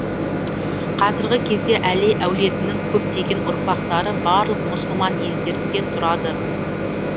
қазіргі кезде әли әулетінің көптеген ұрпақтары барлық мұсылман елдерінде тұрады